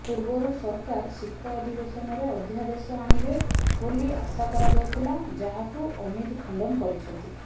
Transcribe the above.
ପୂର୍ବରୁ ସରକାର ଶୀତ ଅଧିବେଶନରେ ଅଧ୍ୟାଦେଶ ଆଣିବେ ବୋଲି ଆଶା କରାଯାଉଥିଲା ଯାହାକୁ ଅମିତ ଖଣ୍ଡନ କରିଛନ୍ତି